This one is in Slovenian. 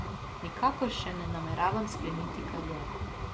Nikakor še ne nameravam skleniti kariere.